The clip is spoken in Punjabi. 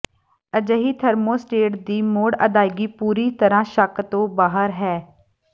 ਅਜਿਹੀ ਥਰਮੋਸਟੇਟ ਦੀ ਮੁੜ ਅਦਾਇਗੀ ਪੂਰੀ ਤਰ੍ਹਾਂ ਸ਼ੱਕ ਤੋਂ ਬਾਹਰ ਹੈ